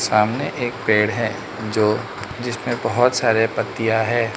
सामने एक पेड़ है जो जिसमें बहोत सारे पत्तियां है।